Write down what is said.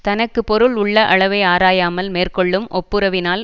தனக்கு பொருள் உள்ள அளவை ஆராயாமல் மேற்கொள்ளும் ஒப்புரவினால்